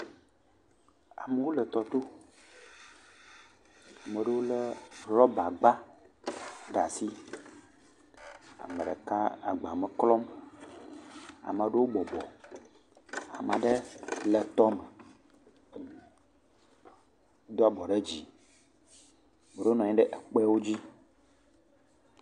Amewo le tɔ to, ame aɖewo lé rɔbagba ɖe asi. Ame ɖeka agba me klɔm. Ame aɖewo bɔbɔ, ame aɖe le tɔme do abɔ ɖe dzi. Amea ɖewo nɔ anyi ɖe kpe dzi.